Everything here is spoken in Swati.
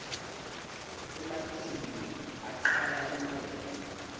ematinyou aqaya emabele